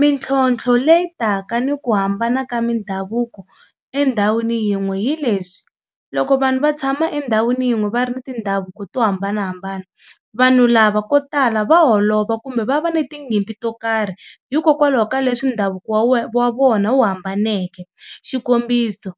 Mintlhotlho leyi taka ni ku hambana ka mindhavuko endhawini yin'we hi leswi, loko vanhu va tshama endhawini yin'we va ri ni tindhavuko to hambanahambana vanhu lava ko tala va holova kumbe va va na tinyimpi to karhi hikokwalaho ka leswi ndhavuko wa wa vona wu hambaneke. Xikombiso,